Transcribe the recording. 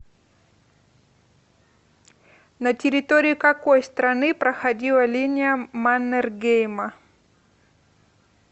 на территории какой страны проходила линия маннергейма